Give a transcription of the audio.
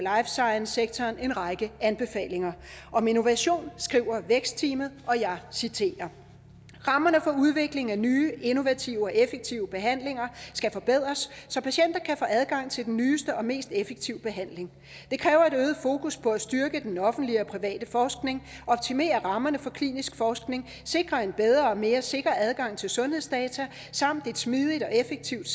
science sektoren en række anbefalinger om innovation skriver vækstteamet og jeg citerer rammerne for udvikling af nye innovative og effektive behandlinger skal forbedres så patienter kan få adgang til den nyeste og mest effektive behandling det kræver et øget fokus på at styrke den offentlige og private forskning optimere rammerne for klinisk forskning sikre en bedre og mere sikker adgang til sundhedsdata samt et smidigt og effektivt